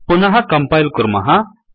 पुनः कंपायिल् कुर्मः